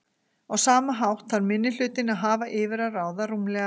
Á sama hátt þarf minnihlutinn að hafa yfir að ráða rúmlega